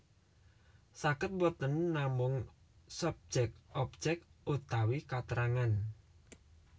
Saged boten namung subjek objek utawi katrangan